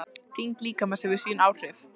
Þyngd líkamans hefur líka sín áhrif.